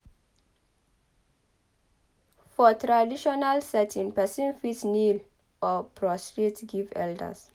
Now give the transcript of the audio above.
For traditional setting person fit kneel or prostrate give elders